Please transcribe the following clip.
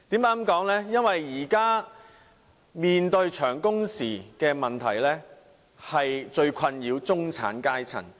現時市民所面對的長工時問題，正是最困擾中產階層的問題。